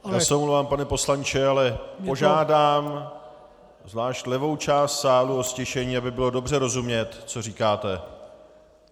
Já se omlouvám, pane poslanče, ale požádám zvlášť levou část sálu o ztišení, aby bylo dobře rozumět, co říkáte.